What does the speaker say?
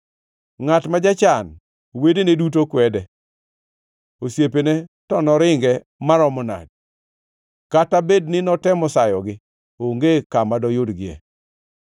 Ngʼat ma jachan wedene duto kwede, osiepene to noringe maromo nadi! Kata bed notemo sayogi onge kama doyudgie.